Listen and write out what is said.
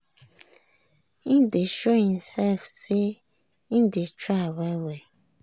im dey show himself say im dey try well-well.